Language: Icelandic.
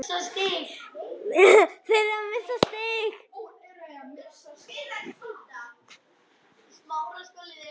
Við tilkynnum alla vega um þau strax og við getum sent skeyti, sagði hann þurrlega.